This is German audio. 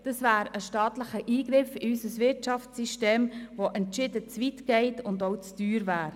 Dies wäre ein staatlicher Eingriff in unser Wirtschaftssystem, der entschieden zu weit ginge und auch zu teuer wäre.